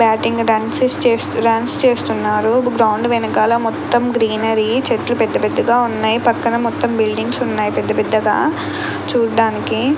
Batting runs stays runs చేస్తున్నారు ground వెనకాల మొత్తం గ్రీనరీ చెట్లు పెద్దపెద్దగా ఉన్నాయి పక్కన మొత్తం బిల్డింగ్స్ ఉన్నాయి పెద్ద పెద్దగా చూడడానికి.